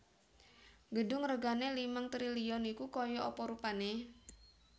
Gedung regane limang triliun iku koyok apa rupane?